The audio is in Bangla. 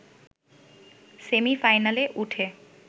সেমি-ফাইনালে উঠে